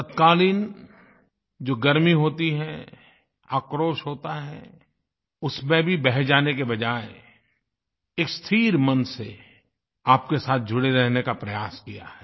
तत्कालीन जो गर्मी होती है आक्रोश होता है उसमें भी बह जाने के बजाय एक स्थिर मन से आपके साथ जुड़े रहने का प्रयास किया है